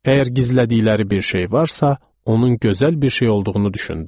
Əgər gizlədikləri bir şey varsa, onun gözəl bir şey olduğunu düşündüm.